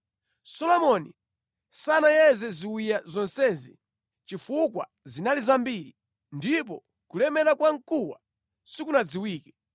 Solomoni sanayeze ziwiya zonsezi chifukwa zinali zambiri ndipo kulemera kwa mkuwa sikunadziwike.